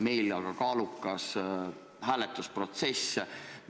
Meil aga on kaalukas hääletusprotsess.